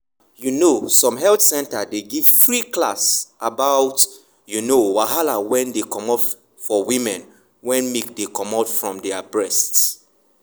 you know some health center dey give free class about you know wahala wen dey for women wen milk dey comot from their breast.